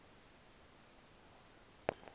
wa l khe